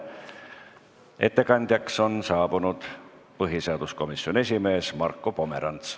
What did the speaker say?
Ettekandeks on kõnetooli tulnud põhiseaduskomisjoni esimees Marko Pomerants.